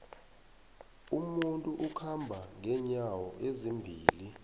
umuntu ukhamba nqenyawo ezimbili